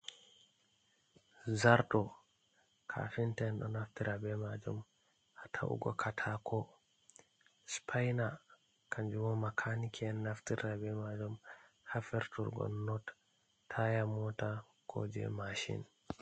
Zarto kafinta en ɗo naftira be majum ha ta’ugo katako sipaina kanjum bo makaniki en naftirta be majum ha firturgo not taya mota ko je mashin.